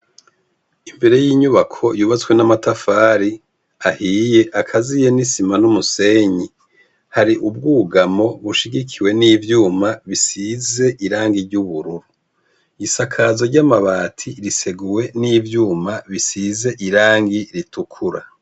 Imbere yinyubako yubatswe n'amatafari ahiye akaziye n'isima n'umusenyi, har'ubwugamo bushigikiwe n'ivyuma bisize irangi ry'ubururu. Isakazo ry'amabati riseguwe n'ivyuma bisize irangi ritukura.